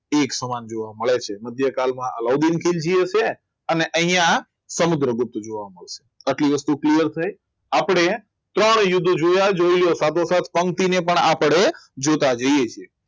એક સમાન જોવા મળે છે મધ્યકાલમાં અલાઉદ્દીન અને અહીંયા સમુદ્રગુપ્ત જોવા મળે આટલી વસ્તુ clear થઈ આપણે ત્રણેય યુદ્ધ જોયા જ જોઈ લો સાથે સાત પંક્તિ તેને પણ આપણે જોતા જઈએ જોઈએ છે